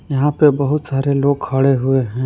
यहां पे बहुत सारे लोग खड़े हुए हैं।